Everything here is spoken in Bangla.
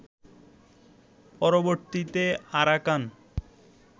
পরবর্তীতে আরাকান